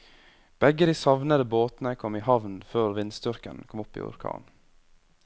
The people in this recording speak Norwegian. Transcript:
Begge de savnede båtene kom i havn før vindstyrken kom opp i orkan.